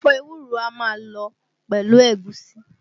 Ẹ̀fọ́ ewúro a máa lọ pẹ̀lú ègúsí